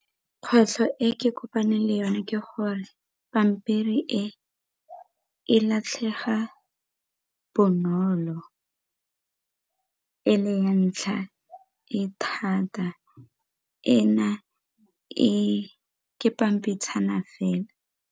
Kgwetlho e ke kopaneng le yone ke gore pampiri e e latlhega bonolo, e le ya ntlha e thata, ena ke pampitshana fela.